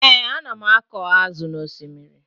Ee, ana m akọ azụ n'osimiri